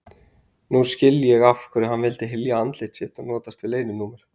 Nú skil ég af hverju hann vildi hylja andlit sitt og notaðist við leyninúmer.